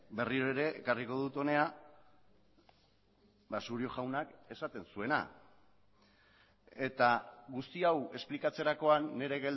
berriro ere ekarriko dut hona surio jaunak esaten zuena eta guzti hau esplikatzerakoan nire